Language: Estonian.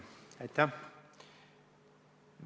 Aitäh!